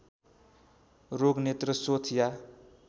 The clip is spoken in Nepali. रोग नेत्रशोथ या